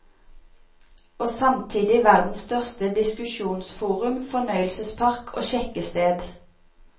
Og samtidig verdens største diskusjonsforum, fornøyelsespark og sjekkested.